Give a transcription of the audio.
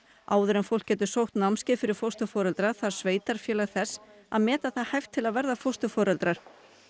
áður en fólk getur sótt námskeið fyrir fósturforeldra þarf sveitarfélag þess að meta það hæft til að verða fósturforeldrar